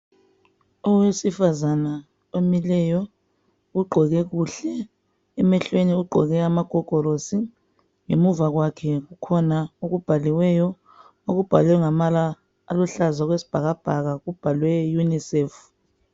Owesifazana omileyo ugqoke kuhle emehlweni ugqoke amagogorosi ngemuva kwakhe kukhona okubhaliweyo okubhalwe ngamabala aluhlaza okwesibhakabhaka kubhalwe unicef.